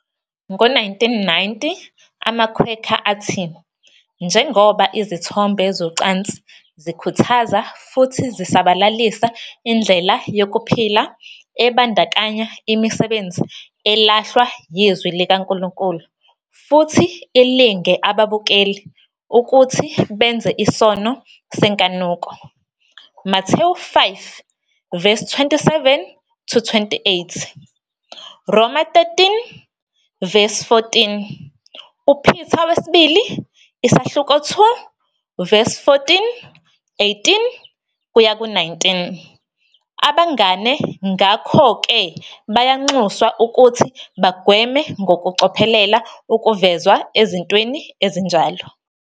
Ngo-1990, amaQuaker athi, "Njengoba izithombe zocansi zikhuthaza futhi zisabalalisa indlela yokuphila ebandakanya imisebenzi elahlwa yiZwi likaNkulunkulu futhi ilinge ababukeli ukuthi benze isono senkanuko, Mathewu 5-27-28, Roma 13-14, II Peter 2-14, 18-19, Abangane ngakho-ke bayanxuswa ukuthi bagweme ngokucophelela ukuvezwa ezintweni ezinjalo.